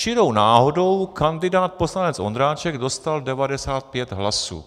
Čirou náhodou kandidát poslanec Ondráček dostal 95 hlasů.